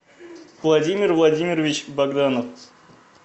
владимир владимирович богданов